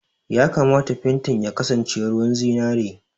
Ya kamata fentin ya kasance ruwan zinari!